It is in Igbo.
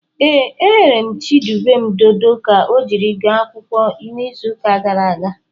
Ee, eghere m Chidubem dodo ka ọ jiri gaa akwụkwọ n'izuụka gara aga.